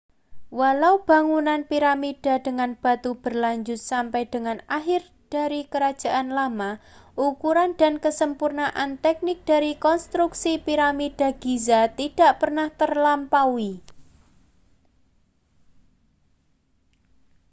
walau pembangunan piramida dengan batu berlanjut sampai dengan akhir dari kerajaan lama ukuran dan kesempurnaan teknik dari konstruksi piramida giza tidak pernah terlampaui